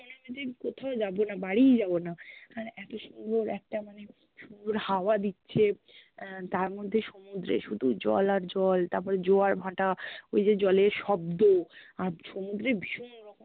আমাদের ক্থাও যাব না বা বাড়িই যাব না মানে এত সুন্দর একটা মানে সুন্দর হাওয়া দিচ্ছে আহ তার মধ্যে সমুদ্রে শুধু জল আর জল তারপরে জোয়ার ভাটা, ওই যে জ্লের শব্দ আর সমুদ্রে ভীষণ রকম